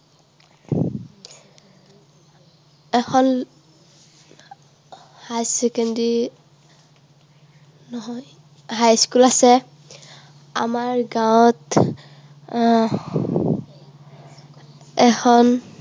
এখন higher secondary নহয়, high school আছে। আমাৰ গাঁৱত আহ এখন